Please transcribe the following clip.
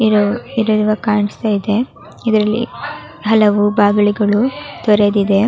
ಇದು ಇಲ್ಲಿರುವ ಕಾಣಿಸ್ತಾ ಇದೆ ಇದರಲ್ಲಿ ಹಲವು ಬಾಗಳಿಗಳು ತೆರೆದಿವೆ --